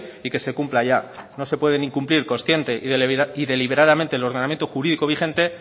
y que se cumpla ya no se pueden incumplir consciente y deliberadamente el ordenamiento jurídico vigente